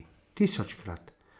Tisočkrat.